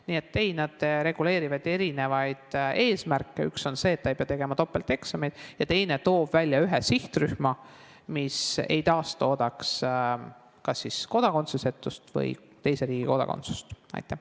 Nii et ei, nad reguleerivad erinevaid eesmärke: üks on see, et ei pea tegema topelteksameid, ja teine toob välja ühe sihtrühma, et ei taastoodetaks kas kodakondsusetust või teise riigi kodakondsusega inimesi.